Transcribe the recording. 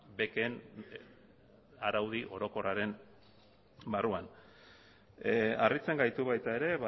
beken araudi orokorraren barruan harritzen gaitu baita ere